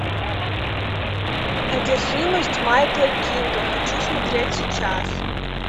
одержимость майкла кинга хочу смотреть сейчас